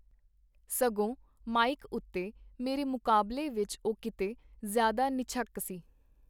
ਸਗੋਂ ਮਾਈਕ ਉਤੇ ਮੇਰੇ ਮੁਕਾਬਲੇ ਵਿਚ ਉਹ ਕੀਤੇ ਜ਼ਿਆਦਾ ਨਿਝੱਕ ਸੀ.